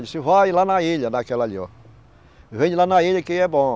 Ele disse, vai lá na ilha, naquela ali, ó. Vende lá na ilha que é bom.